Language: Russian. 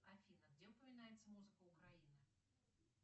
афина где упоминается музыка украина